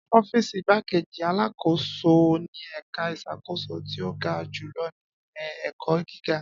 Ọ́fíìsì igbákejì alákòóso ni ẹ̀ka ìṣàkóso tí ó ga jùlọ ní ilé-ẹ̀kọ́ gíga.